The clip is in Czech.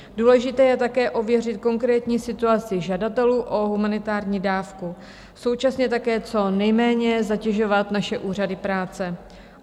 Důležité je také ověřit konkrétní situaci žadatelů o humanitární dávku, současně také co nejméně zatěžovat naše úřady práce.